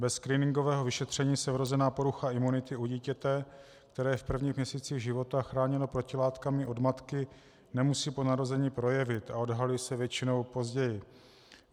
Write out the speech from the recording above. Bez screeningového vyšetření se vrozená porucha imunity u dítěte, které je v prvních měsících života chráněno protilátkami od matky, nemusí po narození projevit a odhalí se většinou později.